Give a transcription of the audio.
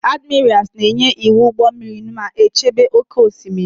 Admirals na-enye iwu ụgbọ mmiri ma chebe oke osimiri.